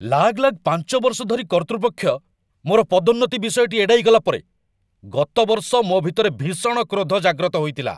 ଲାଗଲାଗ ୫ ବର୍ଷ ଧରି କର୍ତ୍ତୃପକ୍ଷ ମୋର ପଦୋନ୍ନତି ବିଷୟଟି ଏଡ଼ାଇ ଗଲା ପରେ, ଗତ ବର୍ଷ ମୋ ଭିତରେ ଭୀଷଣ କ୍ରୋଧ ଜାଗ୍ରତ ହୋଇଥିଲା।